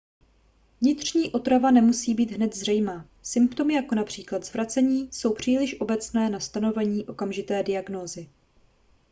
vnitřní otrava nemusí být hned zřejmá symptomy jako například zvracení jsou příliš obecné na stanovení okamžité diagnózy